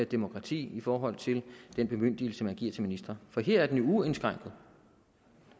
demokrati i forhold til den bemyndigelse man giver til ministre for her er den jo uindskrænket